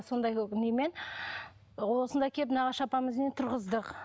сондай немен осында әкеліп нағашы апамыздың үйіне тұрғыздық